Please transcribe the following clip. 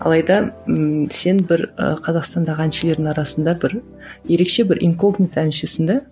алайда ыыы сен бір ы қазақстандағы әншілердің арасында бір ерекше бір инкогнито әншісің де